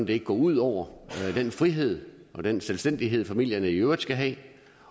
det ikke går ud over den frihed og den selvstændighed familierne i øvrigt skal have